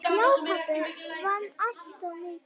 Já, pabbi vann alltaf mikið.